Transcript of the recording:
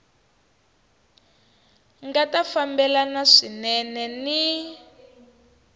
nga ta fambelana swinene ni